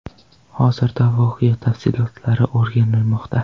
Hozirda voqea tafsilotlari o‘rganilmoqda.